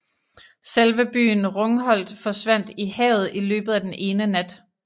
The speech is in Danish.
Selve byen Rungholt forsvandt i havet i løbet af den ene nat